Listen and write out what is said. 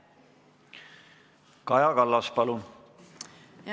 Kaja Kallas, palun!